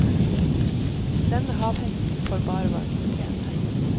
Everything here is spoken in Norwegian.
Denne havheksen får bare hva hun fortjener.